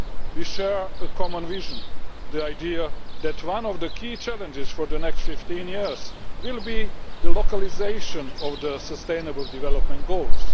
We share a common vision the idea that one of the key challenges for the next 15 years will be the localisation of the Sustainable Development Goals.